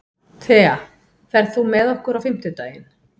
Thea, ferð þú með okkur á fimmtudaginn?